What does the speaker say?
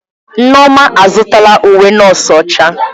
Nneoma azụtala uwe nọọsụ ọcha.